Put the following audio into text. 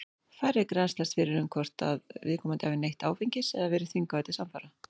Færri grennslast fyrir um hvort að viðkomandi hafi neytt áfengis eða verið þvingaður til samfara.